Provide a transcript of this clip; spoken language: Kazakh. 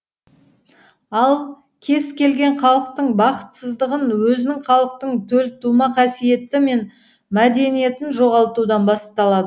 ал кез келген халықтың бақытсыздығы өзінің халықтық төлтума қасиеті мен мәдениетін жоғалтудан басталады